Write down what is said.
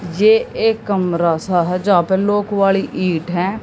ये एक कमरा सा है जहा पे लॉक वाली ईंट है।